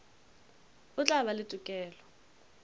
o tla ba le tokelo